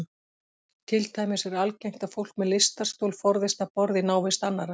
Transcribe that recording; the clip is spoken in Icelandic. Til dæmis er algengt að fólk með lystarstol forðist að borða í návist annarra.